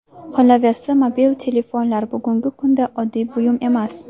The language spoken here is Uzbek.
Qolaversa, mobil telefonlar bugungi kunda oddiy buyum emas.